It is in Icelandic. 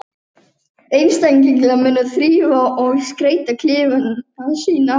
Þeir horfa á eftir fuglinum og undrast hugrekki hans.